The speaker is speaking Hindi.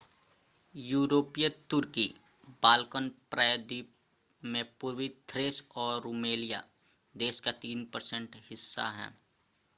यूरोपीय तुर्की बाल्कन प्रायद्वीप में पूर्वी थ्रेस और रूमेलिया देश का 3% हिस्सा है